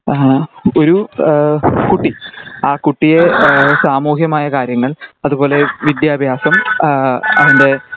ആഹ് ഒരു എഹ് അഹ് കുട്ടി അഹ് കുട്ടിയെ എഹ് സാമൂഹ്യമായ കാര്യങ്ങൾ അതുപോലെ വിദ്യാഭ്യാസം അഹ് അവൻ്റെ